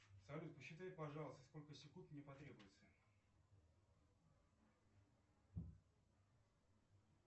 салют посчитай пожалуйста сколько секунд мне потребуется